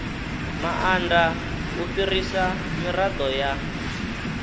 maanda u fhirisa mirado ya